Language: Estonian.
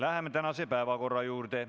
Läheme tänaste päevakorrapunktide juurde.